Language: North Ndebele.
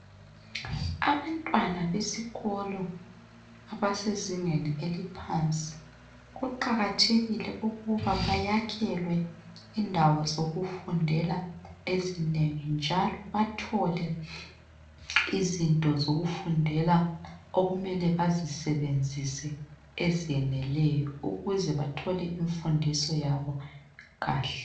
Abantwana besikolo abasezingeni eliphansi, kuqakathekile ukuba bayakhelwe indawo zokufundela ezinengi njalo bathole izinto zokufundela okumele bazisebenzise ezeneleyo ukuze bathole imfundiso yabo kuhle.